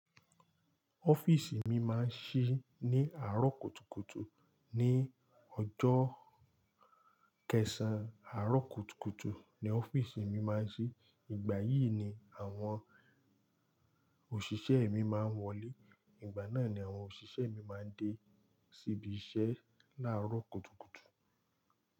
Ọ́fíìsì mi máa ń ṣí ní àárọ̀ kùtùkùtù ní ọjọ́ kẹsàn-án. Àárọ̀ kùtùkùtù ni ọ́fíìsì mi máa ń ṣí, ìgbà yìí ni àwọn òṣìṣẹ́ mi máa ń wọlé. Ìgbà náà ni àwọn òṣìṣẹ́ mi máa ń dé síbi iṣẹ́ láàárọ̀ kùtùkùtù.